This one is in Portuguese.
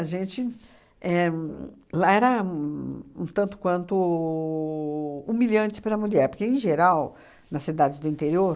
A gente éh... Lá era uhn um tanto quanto humilhante para a mulher, porque, em geral, nas cidades do interior,